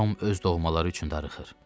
Tom öz doğmaları üçün darıxır.